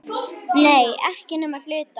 Nei, ekki nema að hluta.